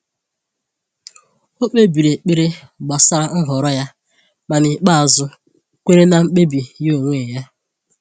O kpebiri ekpere gbasara nhọrọ ya, ma n’ikpeazụ kweere na mkpebi ya onwe ya.